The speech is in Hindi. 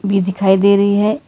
भी दिखाई दे रही है।